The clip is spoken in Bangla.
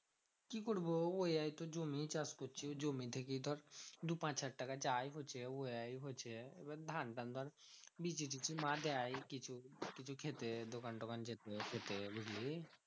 কি করবো? ওই হাই তো জমি চাষ করছে। জমি থেকেই ধর দু পাঁচ হাজার টাকা যাই হচ্ছে উয়াই হচ্ছে। এবার ধান টান ধর বিজি টিজি মা দেয় কিছু কিছু খেতে দোকান টোকান যেতে খেতে বুঝলি?